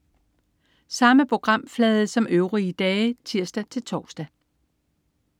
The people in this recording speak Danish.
Samme programflade som øvrige dage (tirs-tors)